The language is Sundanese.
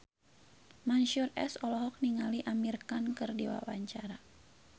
Mansyur S olohok ningali Amir Khan keur diwawancara